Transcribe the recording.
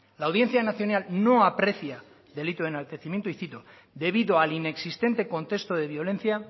la audiencia nacional no aprecia delito de enaltecimiento y cito debido al inexistente contexto de violencia